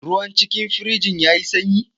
Ruwan cikin firijin ya yi sanyi?